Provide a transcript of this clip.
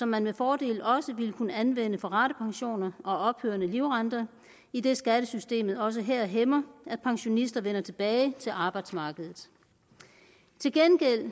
man med fordel også vil kunne anvende for ratepensioner og ophørende livrente idet skattesystemet også her hæmmer at pensionister vender tilbage til arbejdsmarkedet til gengæld